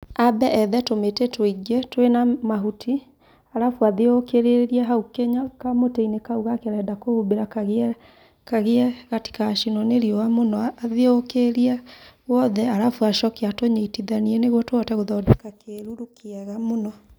Ambe ethe tũmĩtĩ tũingi twĩna mahuti, arabu athiũrũrũkĩrie hau kamũtĩ-inĩ kau gake arenda kũhumbĩra kagĩe, kagĩe gatigacinwo nĩ riũa mũno, athiũrũrukĩrie wothe arabu acoke atũnyitithanie nĩguo tũhote gũthondeka kĩruru kĩega mũno